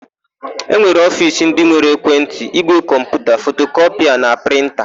E nwere ofiisi ndị nwere ekwentị, ígwè kọmputa, fotokọpịa na prịnta.